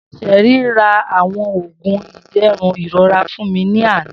Sherry ra awọn oogun iderun irora fun mi ni ana